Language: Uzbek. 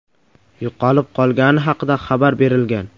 yo‘qolib qolgani haqida xabar berilgan.